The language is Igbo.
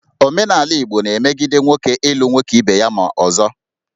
Omenala Igbo na-emegide nwoke ịlụ nwoke ibe ya ma ọzọ